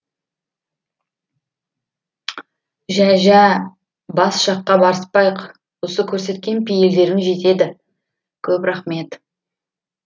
жә жә бас жаққа барыспайық осы көрсеткен пейілдерің жетеді көп рахмет